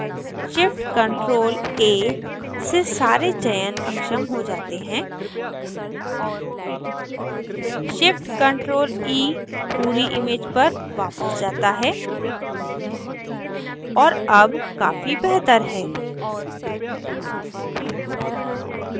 shift + ctrl + a से सारे चयन अक्षम हो जाते हैं shift + ctrl + e पूरी image पर वापस जाता है और अब काफ़ी बेहतर है